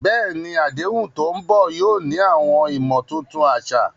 Bẹ́ẹ̀ni, àdéhùn tó ń bọ̀ yóò ní àwọn ìmọ̀ tuntun àṣà.